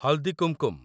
ହଲଦୀ କୁମକୁମ